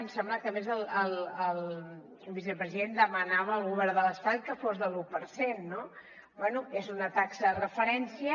em sembla que a més el vicepresident demanava al govern de l’estat que fos de l’un per cent no bé és una taxa de referència